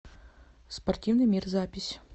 спортивный мир запись